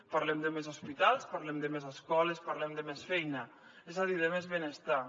parlem de més hospitals parlem de més escoles parlem de més feina és a dir de més benestar